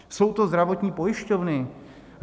Jsou to zdravotní pojišťovny.